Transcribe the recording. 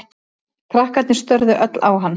Krakkarnir störðu öll á hann.